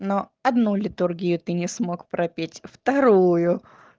но одну литургию ты не смог пропеть вторую